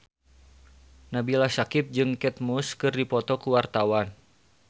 Nabila Syakieb jeung Kate Moss keur dipoto ku wartawan